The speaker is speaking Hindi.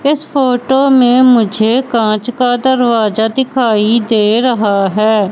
इस फोटो में मुझे कांच का दरवाजा दिखाई दे रहा हैं।